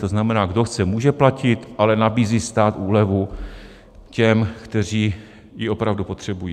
To znamená, kdo chce, může platit, ale nabízí stát úlevu těm, kteří ji opravdu potřebují.